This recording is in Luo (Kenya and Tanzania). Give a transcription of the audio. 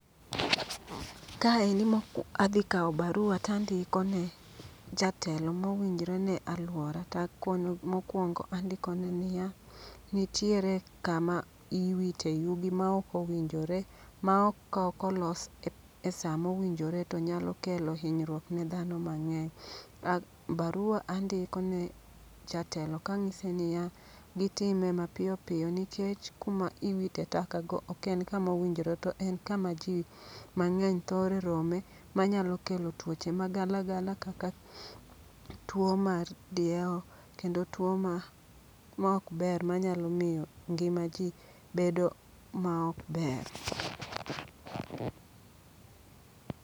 Ka eni mok adhi kawo barua tandiko ne jatelo mowinjre ne alwora, takono mokwongo andikone niya: nitiere kama iwite yugi ma ok owinjore. Ma ok ka okolos e sa mowinjore to nyakelo hinyruok ne dhano mang'eny. Ah, barua andiko ne jatelo kang'ise niya: gitime mapiyo piyo nikech kuma iwite taka go ok en kama owinjore. To en kama ji mang'eny thore rome ma nyalo kelo tuoche ma gala gala kaka tuo mar diewo kendo tuo ma ok ber ma nyalo miyo gnima ji bedo ma ok ber.